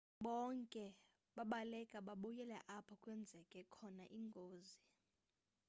bonke babaleka babuyela apho kwenzeke khona ingozi